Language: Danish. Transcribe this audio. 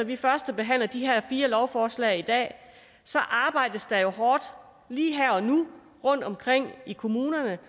vi førstebehandler de her fire lovforslag i dag arbejdes der hårdt lige her og nu rundtomkring i kommunerne